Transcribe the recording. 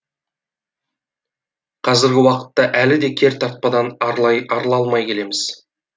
қазіргі уақытта әлі де кертартпадан арыла алмай келеміз